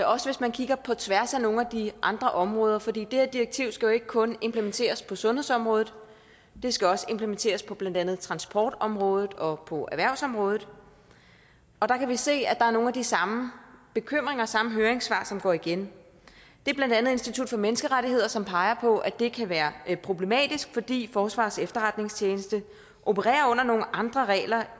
også hvis man kigger på tværs af nogle af de andre områder for det her direktiv skal jo ikke kun implementeres på sundhedsområdet det skal også implementeres på blandt andet transportområdet og på erhvervsområdet og der kan vi se at der er nogle af de samme bekymringer samme høringssvar som går igen det er blandt andet institut for menneskerettigheder som peger på at det kan være problematisk fordi forsvarets efterretningstjeneste opererer under nogle andre regler